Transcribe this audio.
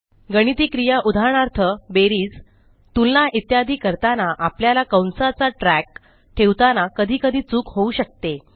गणिती क्रिया उदाहरणार्थ बेरीज तुलना इत्यादी करताना आपल्याला कंसांचा ट्रॅक ठेवताना कधीकधी चूक होऊ शकते